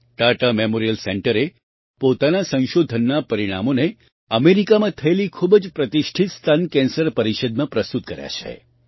Tata memorial સેન્ટરે પોતાના સંશોધનનાં પરિણામોને અમેરિકામાં થયેલી ખૂબ જ પ્રતિષ્ઠિત સ્તન કેન્સર પરિષદમાં પ્રસ્તુત કર્યાં છે